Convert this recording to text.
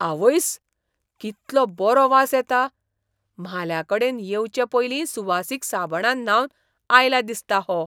आवयस्स, कितलो बरो वास येता. म्हाल्याकडेन येवचे पयलीं सुवासीक साबणान न्हावन आयला दिसता हो.